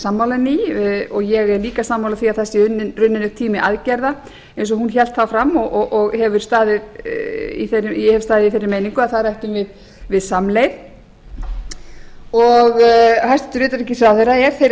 sammála henni í og ég er líka sammála því að það sé runninn upp tími aðgerða eins og hún hélt þá fram og ég hef staðið í þeirri meiningu að þar ættum við samleið hæstvirts utanríkisráðherra er þeirrar